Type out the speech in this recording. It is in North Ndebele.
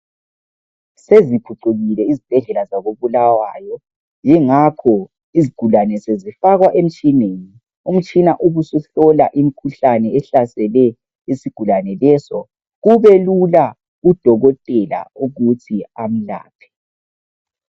Seziphucukile izibhedlela zako Bulawayo yingakho izigulane sezifakwa emitshineni. Umtshina ubu suhlola imikhuhlane ehlasele isigulane leso kubelula kudokotela ukuthi amlaphe.